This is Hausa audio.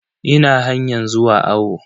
Ina hanyan zuwa awo.